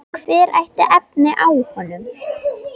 Hver ætti efni á honum?